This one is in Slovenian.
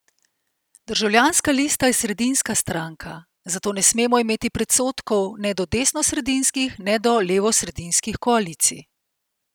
Državljanska lista je sredinska stranka, zato ne smemo imeti predsodkov ne do desnosredinskih ne do levosredinskih koalicij.